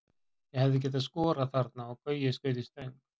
Ég hefði getað skorað þarna og Gaui skaut í stöng.